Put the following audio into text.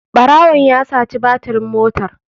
Ɓarawon ya saci batirin motar.